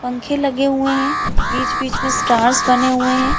पंखे लगे हुए है बीच-बीच में स्टार्स बने हुए है।